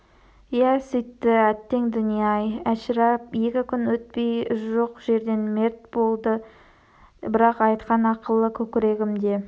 иә сөйтті әттең дүние-ай әшірап екі күн өтпей жоқ жерден мерт болды бірақ айтқан ақылы көкірегімде